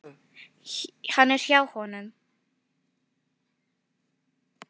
Hann er hjá honum.